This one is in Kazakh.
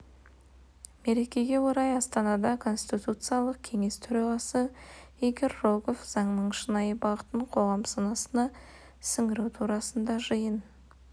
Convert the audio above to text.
мерекеге орай астанада конституциялық кеңес төрағасы игорь рогов заңның шынайы бағытын қоғам санасына сіңіру турасында жиын